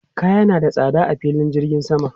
Kaya na da tsada a filin jirgin sama.